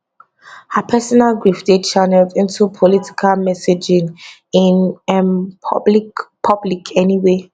her personal grief dey channelled into political messaging in um public public anyway